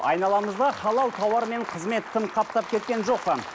айналамызда халал тауармен қызмет тым қаптап кеткен жоқ па